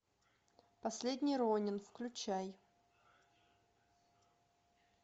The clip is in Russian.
последний ронин включай